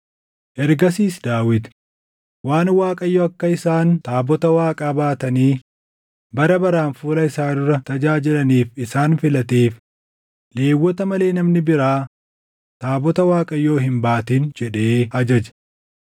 Ergasiis Daawit, “Waan Waaqayyo akka isaan taabota Waaqaa baatanii bara baraan fuula isaa dura tajaajilaniif isaan filateef, Lewwota malee namni biraa taabota Waaqayyoo hin baatin” jedhee ajaje.